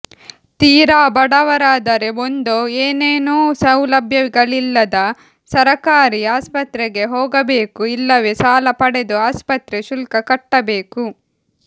ತೀರಾ ಬಡವರಾದರೆ ಒಂದೋ ಏನೇನೂ ಸೌಲಭ್ಯಗಳಿಲ್ಲದ ಸರಕಾರಿ ಆಸ್ಪತ್ರೆಗೆ ಹೋಗಬೇಕು ಇಲ್ಲವೇ ಸಾಲ ಪಡೆದು ಆಸ್ಪತ್ರೆ ಶುಲ್ಕ ಕಟ್ಟಬೇಕು